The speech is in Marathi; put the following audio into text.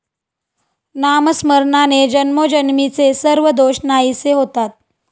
नामस्मरणाने जन्मोजन्मीचे सर्व दोष नाहीसे होतात.